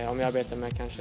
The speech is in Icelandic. á meðan